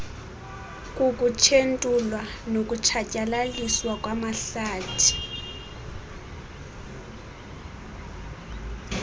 kukutshentulwa nokutshatyalaliswa kwamahlathi